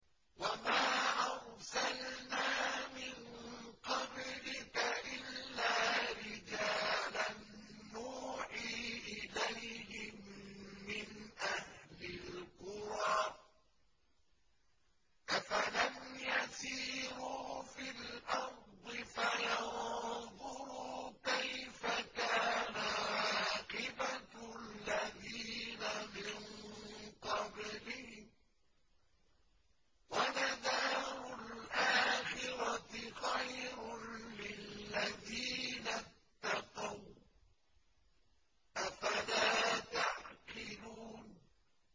وَمَا أَرْسَلْنَا مِن قَبْلِكَ إِلَّا رِجَالًا نُّوحِي إِلَيْهِم مِّنْ أَهْلِ الْقُرَىٰ ۗ أَفَلَمْ يَسِيرُوا فِي الْأَرْضِ فَيَنظُرُوا كَيْفَ كَانَ عَاقِبَةُ الَّذِينَ مِن قَبْلِهِمْ ۗ وَلَدَارُ الْآخِرَةِ خَيْرٌ لِّلَّذِينَ اتَّقَوْا ۗ أَفَلَا تَعْقِلُونَ